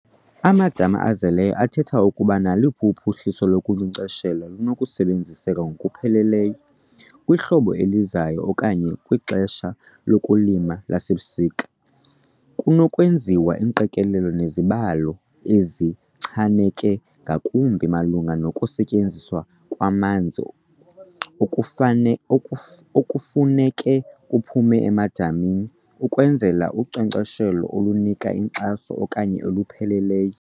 Amadama azeleyo athetha ukuba naluphi uphuhliso lokunkcenkcesha lunokusebenziseka ngokupheleleyo kwihlobo elizayo okanye kwixesha lokulima lasebusika. Kunokwenziwa iingqikelelo nezibalo ezichaneke ngakumbi malunga nokusetyenziswa kwamanzi okufane okufuneka kuphume emadamini ukwenzela unkcenkcesho olunika inkxaso okanye olupheleleyo.